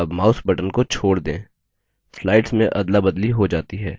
अब mouse button को छोड़ दें